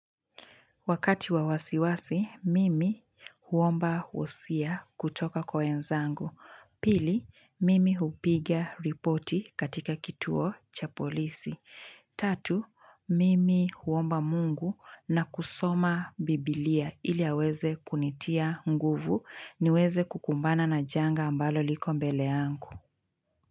Wakati wa wasiwasi, mimi huomba wosia kutoka kwa enzangu. Pili, mimi hupigia ripoti katika kituo cha polisi. Tatu, mimi huomba mungu na kusoma bibilia ili aweze kunitia nguvu niweze kukumbana na janga ambalo liko mbele angu.